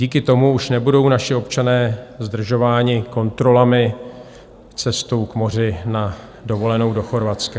Díky tomu už nebudou naši občané zdržováni kontrolami cestou k moři na dovolenou do Chorvatska.